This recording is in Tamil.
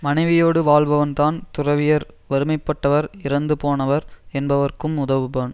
மனைவியோடு வாழ்பவன்தான் துறவியர் வறுமைப்பட்டவர் இறந்து போனவர் என்பவர்க்கும் உதவுபான்